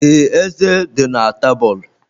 The ezé dị na tebụl.